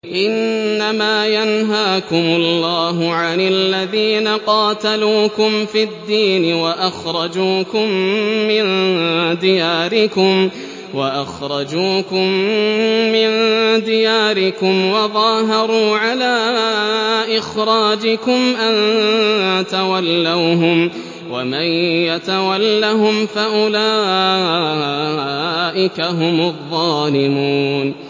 إِنَّمَا يَنْهَاكُمُ اللَّهُ عَنِ الَّذِينَ قَاتَلُوكُمْ فِي الدِّينِ وَأَخْرَجُوكُم مِّن دِيَارِكُمْ وَظَاهَرُوا عَلَىٰ إِخْرَاجِكُمْ أَن تَوَلَّوْهُمْ ۚ وَمَن يَتَوَلَّهُمْ فَأُولَٰئِكَ هُمُ الظَّالِمُونَ